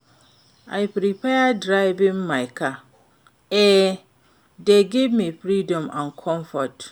I prefer driving my car; e dey give me freedom and comfort.